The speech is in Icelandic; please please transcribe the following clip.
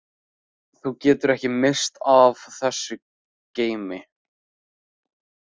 Þú getur ekki misst af þessu geimi.